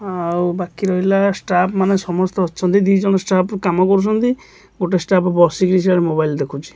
ଆଉ ବାକି ରହିଲା ଷ୍ଟାଫ ମାନେ ସମସ୍ତେ ଅଛନ୍ତି। ଦିଜନା ଷ୍ଟାଫ କାମ କରୁଛନ୍ତି। ଗୋଟେ ଷ୍ଟାଫ ବସି କି ସେଡ ମୋବାଇଲ ଦେଖୁଛନ୍ତି।